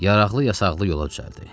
Yaraqlı yasaqlı yola düzəldi.